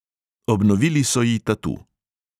"Obnovili so ji tatu."